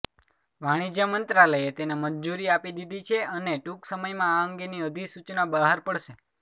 વાણિજ્ય મંત્રાલયે તેને મંજૂરી આપી દીધી છે અને ટૂંક સમયમાં આ અંગેની અધિસૂચના બહાર પડશે